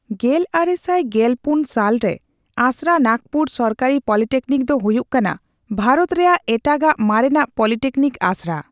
ᱜᱮᱞᱟᱨᱮᱥᱟᱭ ᱜᱮᱞᱯᱩᱱ ᱥᱟᱞ ᱨᱮ ᱟᱥᱲᱟ ᱱᱟᱠᱯᱩᱨ ᱥᱚᱨᱠᱟᱨᱤ ᱯᱚᱞᱤᱴᱤᱠᱱᱤᱠ ᱫᱚ ᱦᱚᱭᱩᱜ ᱠᱟᱱᱟ ᱵᱷᱟᱨᱚᱛ ᱨᱮᱭᱟᱜ ᱮᱴᱟᱜ ᱟᱜ ᱢᱟᱨᱮᱱᱟᱜ ᱯᱚᱞᱤᱴᱤᱠᱱᱤᱠ ᱟᱥᱲᱟ ᱾